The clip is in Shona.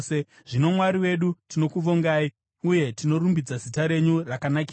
Zvino, Mwari wedu, tinokuvongai, uye tinorumbidza zita renyu rakanakisa.